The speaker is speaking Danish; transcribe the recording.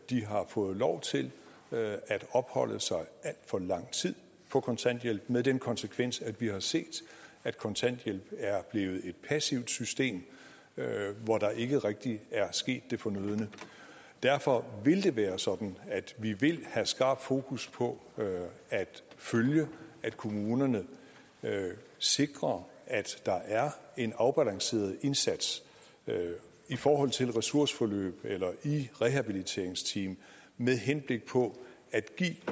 de har fået lov til at opholde sig alt for lang tid på kontanthjælp med den konsekvens at vi har set at kontanthjælpen er blevet et passivt system hvor der ikke rigtig er sket det fornødne derfor vil det være sådan at vi vil have skarpt fokus på at følge at kommunerne sikrer at der er en afbalanceret indsats i forhold til ressourceforløb eller i rehabiliteringsteam med henblik på at give